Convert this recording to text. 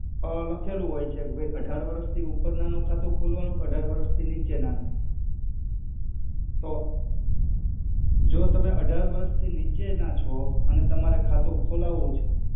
અ લખેલુ હોય છે કે ભઇ અઢાર વરસ થી ઉપેરના નુ ખાતુ ખોલ્વાનુ કે અઢાર વરસ થી નિચેના નુ તો જો તમે અઢાર વરસ થી નિચેના છો અને તમારે ખાતુ ખોલાવુ છે.